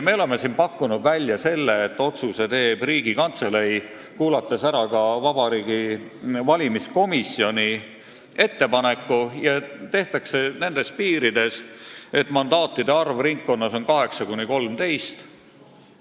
Me oleme pakkunud, et otsuse teeks Riigikantselei, kuulates ära ka Vabariigi Valimiskomisjoni ettepaneku, ja see otsus tehtaks nendes piirides, et mandaatide arv ringkonnas oleks 8–13.